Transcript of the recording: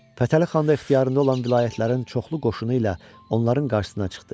Fətəli xan da ixtiyarında olan vilayətlərin çoxlu qoşunu ilə onların qarşısına çıxdı.